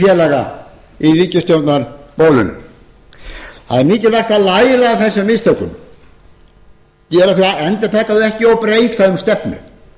félaga í ríkisstjórnarbólinu það er mikilvægt að læra af þessum mistökum endurtaka þau ekki og breyta um stefnu